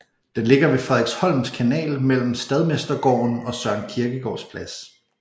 Den ligger ved Frederiksholms Kanal mellem Staldmestergården og Søren Kierkegaards Plads